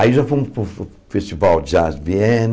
Aí já fomos para o Festival Jazz de Viena,